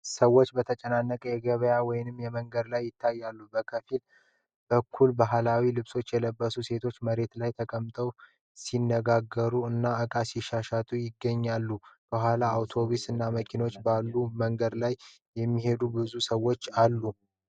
ሰዎች በተጨናነቀ የገበያ ወይም የመንገድ ላይ ይታያሉ። ከፊት በኩል በባህላዊ ልብሶች የለበሱ ሴቶች መሬት ላይ ተቀምጠው ሲነጋገሩ እና ዕቃ ሲሸጡ ይገኛሉ። ከኋላ አውቶቡስ እና መኪኖች ባሉበት መንገድ ላይ የሚሄዱ ብዙ ሰዎች አሉ።